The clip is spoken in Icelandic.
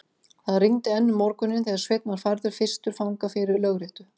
Það rigndi enn um morguninn, þegar Sveinn var færður fyrstur fanga fyrir lögréttu.